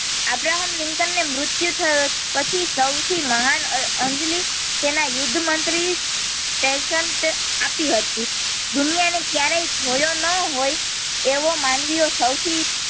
Abraham Lincoln ને મૃતિયું થયું પછી સૌથી મહાન અંજલિ તેના યુદ્ધ મંત્રી સેસને આપી હતી દુનિયા ને કયારેય જોયો ન હોય તેવો માનવીય સૌથી.